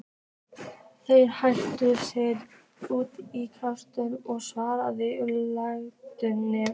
Þeir hentu sér út í kalda og svalandi laugina.